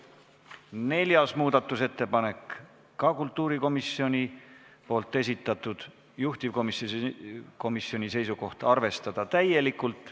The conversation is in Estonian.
Neljas muudatusettepanek on ka kultuurikomisjoni esitatud, juhtivkomisjoni seisukoht on arvestada täielikult.